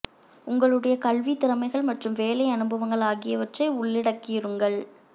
உங்களுடைய கல்வி திறமைகள் மற்றும் வேலை அனுபவங்கள் ஆகியவற்றை உள்ளடக்கியிருங்கள்